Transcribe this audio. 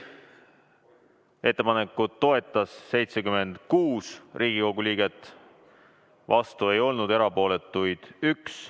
Ettepanekut toetas 76 Riigikogu liiget, vastu ei olnud keegi, erapooletuid oli 1.